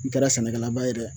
N kɛra sɛnɛkɛlaba ye dɛ